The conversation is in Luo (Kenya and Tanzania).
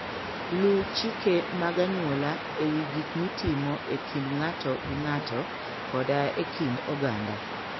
Luw chike mag anyuola e wi gik mitimo e kind ng'ato gi ng'ato koda e kind oganda.